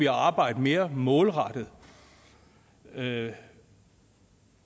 at arbejde mere målrettet det